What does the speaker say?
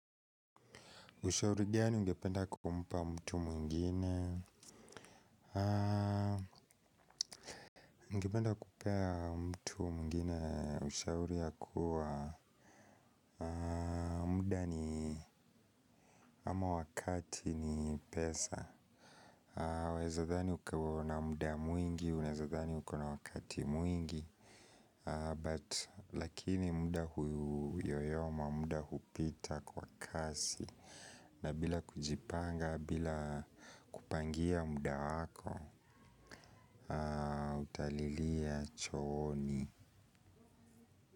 Ushauri gani ungependa kumpa mtu mwingine? Ungependa kupea mtu mwingine ushauri ya kuwa muda ni ama wakati ni pesa. Waezadhani ukauona muda mwingi, unezadhani ukona wakati mwingi, lakini muda huyoyoma, muda hupita kwa kasi. Na bila kujipanga, bila kupangia muda wako ah utalilia chooni.